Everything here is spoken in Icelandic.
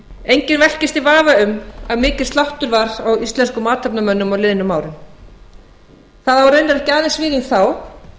enginn velkist í vafa um að mikill sláttur var á íslenskum athafnamönnum á liðnum árum það á raunar ekki aðeins við um þá